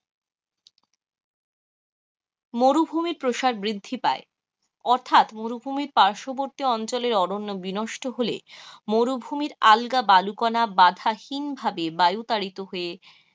মরুভুমির প্রসার বৃদ্ধি পায় অর্থাৎ মরুভুমির পার্শ্ববর্তী অঞ্চলে অরণ্য বিনষ্ট হলে মরুভুমির আলগা বালিকণা বাঁধাহীন ভাবে বায়ূ তাড়িত হয়ে